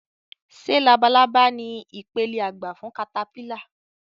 Ṣé labalábá ni ipele àgbà fún katapílà